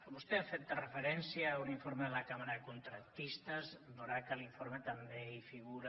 vostè ha fet referència a un informe de la cambra de contractistes veurà que a l’informe també hi figura